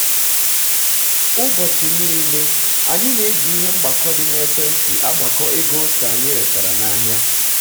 ụbọchị nile anyị nile anyị na-eji ihe mgbakọ dị na ekwentị agbakọ ego ose anyị retara n'ahịa